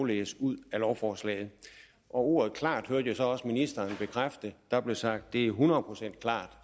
læse ud af lovforslaget og ordet klart hørte jeg så også ministeren bekræfte der blev sagt det er hundrede procent klart